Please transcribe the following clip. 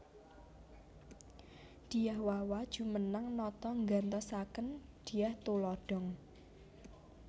Dyah Wawa jumeneng nata nggantosaken Dyah Tulodhong